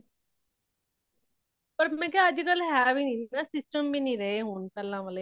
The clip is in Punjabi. ਪਾਰ ਮੈਂ ਕੀਆ ਅੱਜ ਕੱਲ ਹੇ ਵੀ ਨਹੀਂ , ਹੇਨਾ system ਵੀ ਨਹੀਂ ਰਹੇ ਹੋਣ ਪਹਿਲਾ ਵਾਲੇ